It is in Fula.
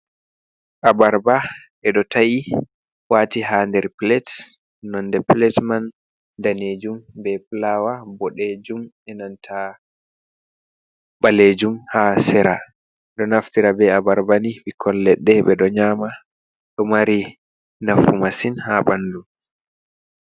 Abarba ɓeɗo ta’i wati ha nder pilet nonde pilet man danejum, be fulawa boɗejum, enanta ɓalejum ha sera, ɗo naftira be abarbani ɓikkon leɗɗe, ɓeɗo nyama ɗo mari nafu masin ha ɓandu.